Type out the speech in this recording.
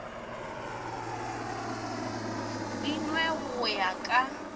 di nwe go ya ka